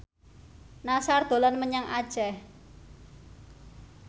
Nassar dolan menyang Aceh